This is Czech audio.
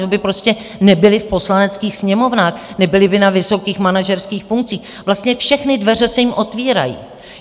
To by prostě nebyli v poslaneckých sněmovnách, nebyli by na vysokých manažerských funkcích, vlastně všechny dveře se jim otvírají.